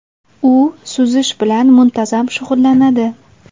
U suzish bilan muntazam shug‘ullanadi.